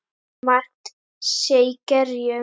Margt sé í gerjum.